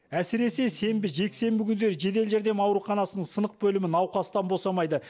әсіресе сенбі жексенбі күндері жедел жәрдем ауруханасының сынық бөлімі науқастан босамайды